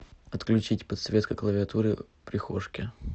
отключить подсветка клавиатуры в прихожке